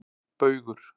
Baugur